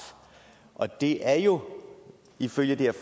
og det er jo ifølge det her